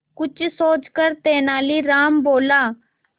कुछ सोचकर तेनालीराम बोला